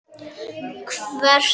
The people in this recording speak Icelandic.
Hvert langar þig helst til að fara?